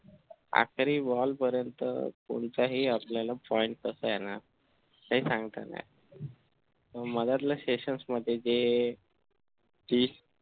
आखिरी bowl पर्यंत कोणताही आपल्याला point हे सांगता नाही मगधल्या session मध्ये ती